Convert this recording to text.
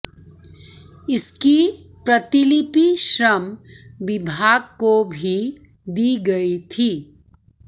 इसकी प्रतिलिपि श्रम विभाग को भी दी गई थी